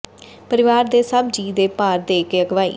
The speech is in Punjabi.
ਪਰਿਵਾਰ ਦੇ ਸਭ ਜੀਅ ਦੇ ਭਾਰ ਦੇ ਕੇ ਅਗਵਾਈ